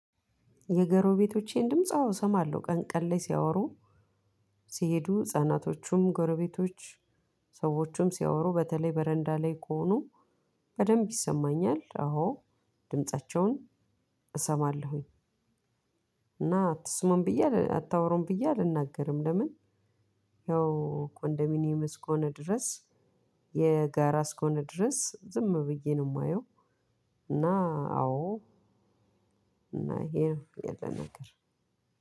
የጎረቤቶቼን ድምጽ አወሰማለሁ ቀን ቀን ላይ ሲያወሩ ሲሄዱ ህጻናቶቹም ጎረቤቶች ሰወቹም ሲያወሩ በተለይ በረዳላይ ከሆኑ በደብ ይሰማኛል አወድምጻቸውን እሰማለሁ። እና አትስሙም ብዬ አታውሩም ብዬ አልናገርም። ለምን? ያው ኮንዶሚኒየም እስከሆነ ድረስ የጋራ እስከሆነ ድረስ ዝም ብዬ ነው የማየው። እና አዎ። እና ይሄ ነው ያለን ነገር